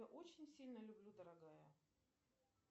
очень сильно люблю дорогая